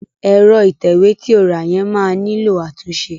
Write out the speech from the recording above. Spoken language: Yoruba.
Ẹ̀rọ ìtẹ̀wé ti o rà yẹn máa nílò àtúnṣe.